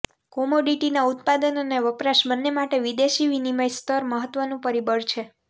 કોમોડિટીના ઉત્પાદન અને વપરાશ બંને માટે વિદેશી વિનિમય સ્તર મહત્ત્વનું પરિબળ છે